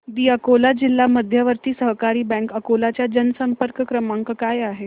दि अकोला जिल्हा मध्यवर्ती सहकारी बँक अकोला चा जनसंपर्क क्रमांक काय आहे